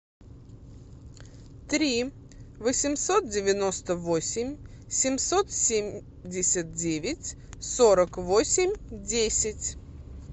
три восемьсот девяносто восемь семьсот семьдесят девять сорок восемь десять